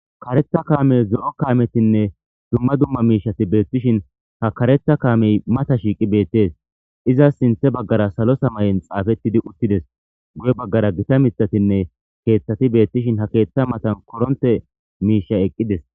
karetha kaamey zo7o kaametinne dumma dumma miishati beettishin ha karetha kaamey mata shiiqi beettes izas sinthe baggara salo samay7en xaafettidi uttides guye baggara gita mithatinne keeththati beettishin ha keeththa matan koronte miisha eqqides